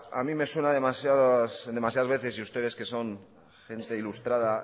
a mí me suena demasiadas veces y ustedes que son gente ilustrada